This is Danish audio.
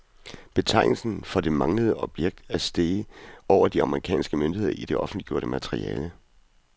Betegnelsen for det manglende objekt er streget over af de amerikanske myndigheder i det offentliggjorte materiale.